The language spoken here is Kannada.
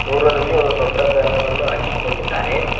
ದೂರದಲ್ಲಿ ಒಂದು ದೊಡ್ಡ ಬ್ಯಾನರ್ ಅನ್ನು ಹಾಕಿಕೊಂಡಿದ್ದಾರೆ.